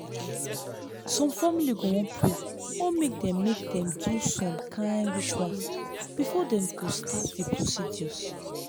some family go wan pray or mk dem mk dem do some kain rituals before dem go start the procedures